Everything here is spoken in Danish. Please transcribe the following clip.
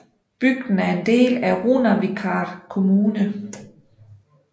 Bygden er en del af Runavíkar Kommune